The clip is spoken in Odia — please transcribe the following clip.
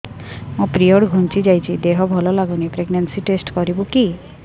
ମୋ ପିରିଅଡ଼ ଘୁଞ୍ଚି ଯାଇଛି ଦେହ ଭଲ ଲାଗୁନି ପ୍ରେଗ୍ନନ୍ସି ଟେଷ୍ଟ କରିବୁ କି